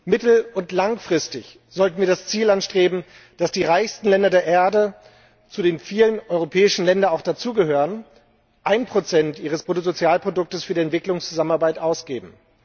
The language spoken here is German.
Mittel und langfristig sollten wir das Ziel anstreben, dass die reichsten Länder der Erde, zu denen viele europäische Länder auch dazugehören, 1 ihres Bruttosozialproduktes für die Entwicklungszusammenarbeit ausgeben.